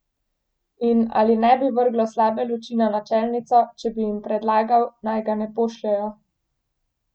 In ali ne bi vrglo slabe luči na načelnico, če bi jim predlagal, naj ga ne pošljejo?